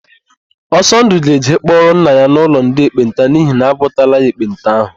Ọsọndụ ga-eje ịkpọrọ nna ya n'ụlọ ndị ekpenta n'ihi na agwọtala ya ekpenta ahụ.